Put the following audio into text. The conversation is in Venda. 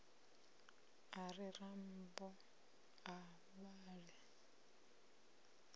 a ri rambo a vhale